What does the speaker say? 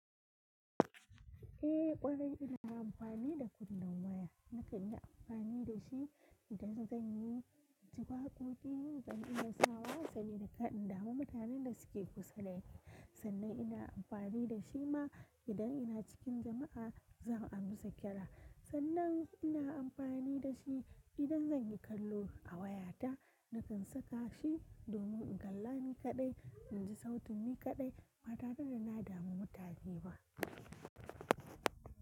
Eh ƙwarai ina amfani da kunnan waya nakan yi amfani da shi idan zan yi ji wa waƙoƙi, yin zan ina sawa sani da kaɗin dama mutanen da suke kusa da ni. Sannan ina amfani da shi ma idan ina cikin jama'a zan amsa ƙira. Sannan ina amfani da shi idan zan yi kallo a wayata nakan saka shi domin in galla ni kaɗai, in ji sautin ni kaɗai ba tare da na damu mutane ba.